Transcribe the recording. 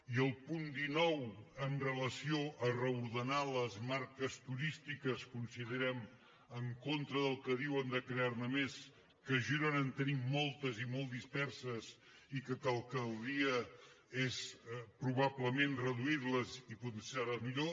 i al punt dinou amb relació a reordenar les marques turístiques considerem en contra del que diuen de crear ne més que a girona en tenim moltes i molt disperses i que el que caldria és probablement reduir les i potenciar les millor